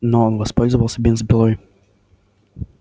но он воспользовался бензопилой